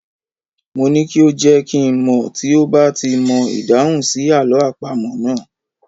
Mo ní kí ó jẹ́ kí n mọ̀ tí ó bá ti mọ ìdáhùn sí àlọ́ àpamọ̀ náà.